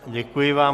Děkuji vám.